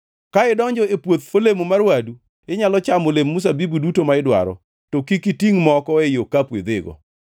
Ka idonjo e puoth olemo mar wadu, inyalo chamo olemb mzabibu duto ma idwaro, to kik itingʼ moko ei okapu idhigo.